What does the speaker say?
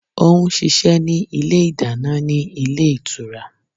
Ó n ṣiṣẹ́ ní Ilé ìdáná ní Ilé Ìtura